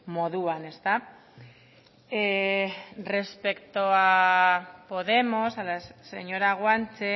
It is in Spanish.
moduan ezta respecto a podemos respecto a la señora guanche